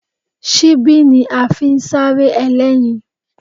Ṣíbí ni a fi ń sárẹ́ ẹlẹ́yin